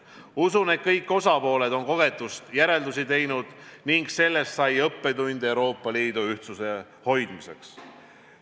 Usun, et kõik osapooled on kogetust järeldusi teinud ning sellest sai õppetund Euroopa Liidu ühtsuse hoidmiseks.